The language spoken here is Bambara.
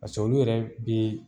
paseke olu yɛrɛ bee